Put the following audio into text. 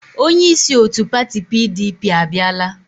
Onyeisi otu pati PDP abiala.